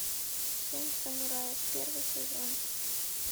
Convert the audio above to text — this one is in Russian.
семь самураев первый сезон